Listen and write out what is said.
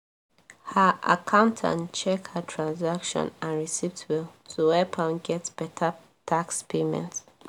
her accountant check her transaction and receipts well to help am get better tax payment